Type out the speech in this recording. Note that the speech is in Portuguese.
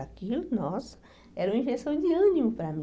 Aquilo, nossa, era uma injeção de ânimo para mim.